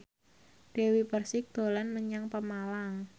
Dewi Persik dolan menyang Pemalang